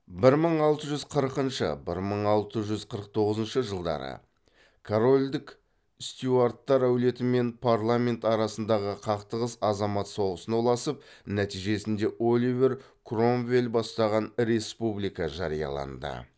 бір мың алты жүз қырқыншы бір мың алты жүз қырық тоғызыншы жылдары корольдік стюарттар әулеті мен парламент арасындағы қақтығыс азамат соғысына ұласып нәтижесінде оливер кромвель бастаған республика жарияланды